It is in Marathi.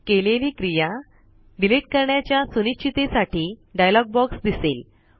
केलेली क्रिया डिलीट करण्याच्या सुनिश्चिते साठी डायलॉग बॉक्स दिसेल